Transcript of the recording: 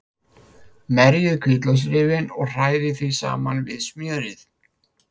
Merjið hvítlauksrifið og hrærið því saman við smjörið.